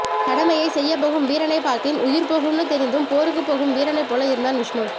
கடமையை செய்யபோகும் வீரனை பார்த்தேன் உயிர் போகும்னு தெரிந்தும் போருக்கு போகும் வீரனை போல இருந்தான் விஷ்ணு